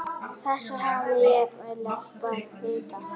Þessu hefði ég viljað breyta.